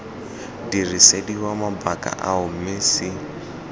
dirisediwa mabaka ao mme c